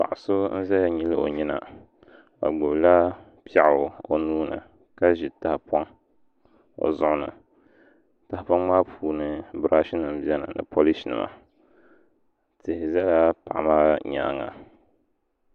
Paɣa so n ʒɛya nyili o nyina o gbubila piɛɣu o nuuni ka ʒi tahapoʋ i zuɣu ni tahapoŋ maa puuni birash nim biɛni ni polish nima tihi ʒɛla paɣa maa nyaanga